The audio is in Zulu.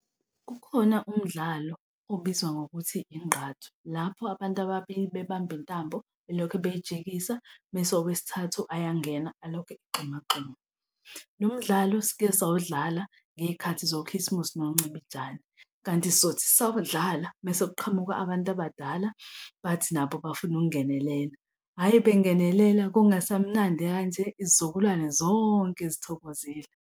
Kukhona umdlalo obizwa ngokuthi ingqathu lapho abantu ababili bebamba intambo belokho beyijikisa mese owesithathu ayangena alokhu egxumagxuma. Lo mdlalo sikesawudlala ngey'khathi zokhisimusi noncibijane kanti sizothi sisawudlala mese kuqhamuka abantu abadala bathi nabo bafuna ukungenelela. Hhayi, bengenelela, kungasamnandi kanje izizukulwane zonke zithokozile.